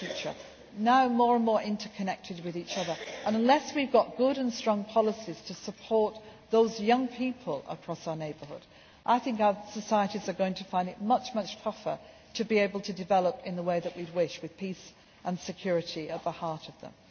lives. They are now more and more interconnected with each other and, unless we have good and strong policies to support those young people across our neighbourhood, I think our societies are going to find it much tougher to be able to develop in the way that we would wish, with peace and security at the heart of